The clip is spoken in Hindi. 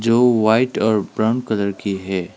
जो व्हाइट और ब्राउन कलर की है।